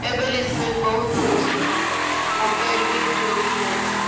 ଏବେ recent ବହୁତ ହଉଛି ହଁ mobile ବି ଚୋରି ହେଇ ଯାଇଛି